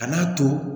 A n'a to